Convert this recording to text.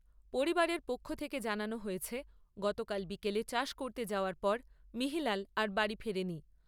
পরিবারের পক্ষ থেকে জানানো হয়েছে, গতকাল বিকেলে চাষ করতে যাওয়ার পর মিহিলাল আর বাড়ি ফেরেনি।